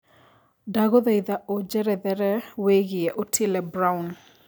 ndagũthaĩtha ũjerethere wĩigie otile brown